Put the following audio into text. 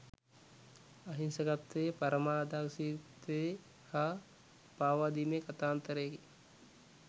අහිංසකත්වයේ පරමාදර්ශීත්වයේ හා පාවාදීමේ කතාන්තරයකි.